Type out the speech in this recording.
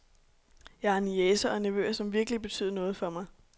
Jeg har niecer og nevøer, som virkelig betyder noget for mig